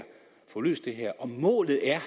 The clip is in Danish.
får løst det her og målet er